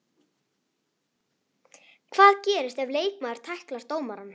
Hvað gerist ef leikmaður tæklar dómarann?